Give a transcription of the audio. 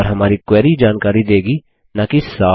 और हमारी क्वेरी जानकारी देगी नाकि सार